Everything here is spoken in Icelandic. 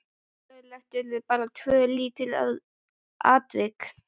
Söguleg urðu bara tvö lítil atvik.